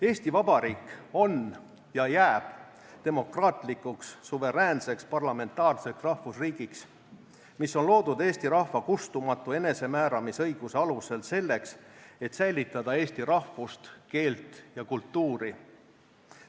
Eesti Vabariik on ja jääb demokraatlikuks suveräänseks parlamentaarseks rahvusriigiks, mis on loodud eesti rahva kustumatu enesemääramisõiguse alusel selleks, et säilitada eesti rahvust, keelt ja kultuuri.